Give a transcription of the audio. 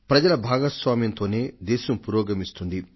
ప్రజల భాగస్వామ్యంతోనే దేశం పురోగమిస్తుంది